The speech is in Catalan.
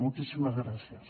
moltíssimes gràcies